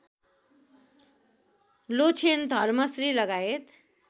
लोछेन धर्मश्री लगायत